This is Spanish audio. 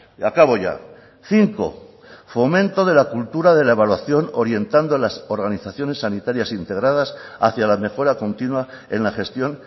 y acabo ya cinco fomento de la cultura de la evaluación orientando a las organizaciones sanitarias integradas hacia la mejora continua en la gestión